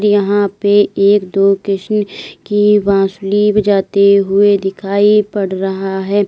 यहां पे एक दो कृष्ण की बांसुरी बजाते हुए दिखाई पड़ रहा है।